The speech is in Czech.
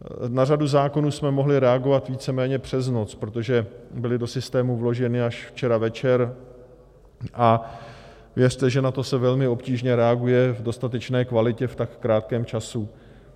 Na řadu zákonů jsme mohli reagovat víceméně přes noc, protože byly do systému vloženy až včera večer, a věřte, že na to se velmi obtížně reaguje v dostatečné kvalitě v tak krátkém čase.